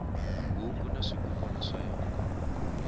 huku na swikukwana swa yona